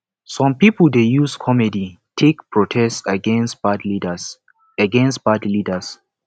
some pipo dey use comedy take protest against bad leaders against bad leaders